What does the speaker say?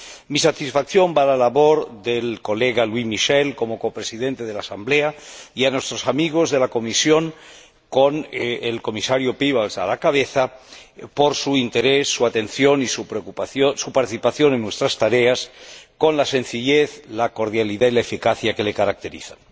Mi satisfacción por la labor del colega Louis Michel, como Copresidente de la Asamblea, y de nuestros amigos de la Comisión, con el Comisario Piebalgs a la cabeza, por su interés, su atención y su participación en nuestras tareas, con la sencillez, la cordialidad y la eficacia que le caracterizan.